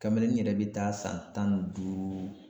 Kamelenin n yɛrɛ bɛ taa san tan ni duuru.